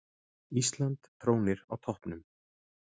Ísland trónir á toppnum